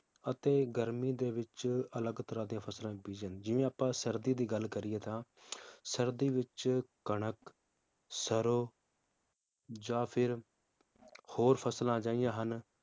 ਅਤੇ ਗਰਮੀ ਦੇ ਵਿਚ ਅਲਗ ਤਰਾਹ ਦੀਆਂ ਫਸਲਾਂ ਬੀਜੀਆਂ ਜਿਵੇ ਆਪਾਂ ਸਰਦੀ ਦੀ ਗੱਲ ਕਰੀਏ ਤਾਂ ਸਰਦੀ ਵਿਚ ਕਣਕ, ਸਰੋਂ ਜਾਂ ਫਿਰ ਹੋਰ ਫਸਲਾਂ ਅਜਿਹੀਆਂ ਹਨ